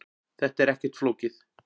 Þetta er ekkert flókið